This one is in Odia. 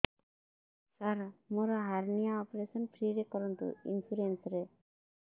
ସାର ମୋର ହାରନିଆ ଅପେରସନ ଫ୍ରି ରେ କରନ୍ତୁ ଇନ୍ସୁରେନ୍ସ ରେ